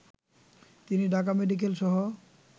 তিনি ঢাকা মেডিকেলসহ